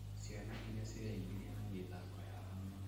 Ciana irĩa cireingĩrania na mĩthako ya hamwe